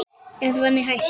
Evran í hættu?